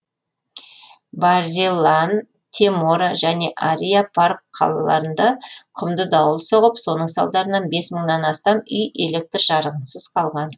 бареллан темора және ариа парк қалаларында құмды дауыл соғып соның салдарынан бес мыңнан астам үй электр жарығынсыз қалған